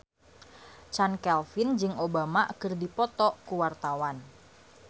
Chand Kelvin jeung Obama keur dipoto ku wartawan